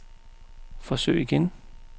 forsøg igen